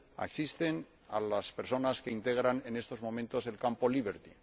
asisten a las personas que integran en estos momentos el campo Liberty